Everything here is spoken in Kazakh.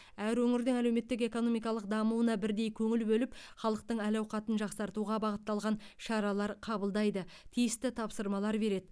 әр өңірдің әлеуметтік экономикалық дамуына бірдей көңіл бөліп халықтың әл ауқатын жақсартуға бағытталған шаралар қабылдайды тиісті тапсырмалар береді